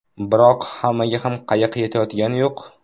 Biroq hammaga ham qayiq yetayotgani yo‘q.